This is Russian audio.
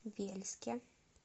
вельске